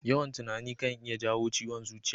Yawan tunani kan iya jawo ciwon zuciya.